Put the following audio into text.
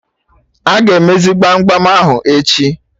Aga emezi gbam gbam ahụ echi?